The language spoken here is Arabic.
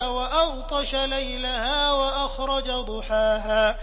وَأَغْطَشَ لَيْلَهَا وَأَخْرَجَ ضُحَاهَا